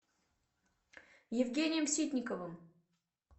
евгением ситниковым